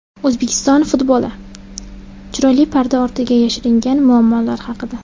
O‘zbekiston futboli: chiroyli parda ortiga yashiringan muammolar haqida.